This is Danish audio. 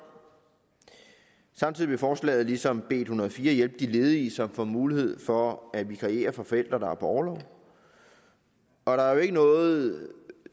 samtidig vil forslaget ligesom b en hundrede og fire hjælpe de ledige som får mulighed for at vikariere for forældre der er på orlov der er ikke noget